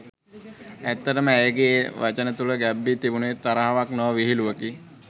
ඇත්තටම ඇයගේ ඒ වචන තුළ ගැබ් වී තිබුණේ තරහක් නොව විහිළුවකි.